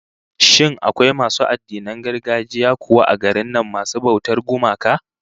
Shin akwai masu addinan gargajiya kuwa a garin nan masu bautar gumaka?